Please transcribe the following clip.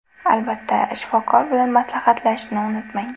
Albatta, shifokor bilan maslahatlashishni unutmang.